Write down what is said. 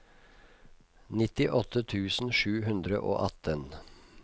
nittiåtte tusen sju hundre og atten